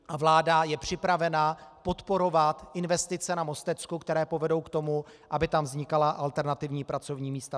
A vláda je připravena podporovat investice na Mostecku, které povedou k tomu, aby tam vznikala alternativní pracovní místa.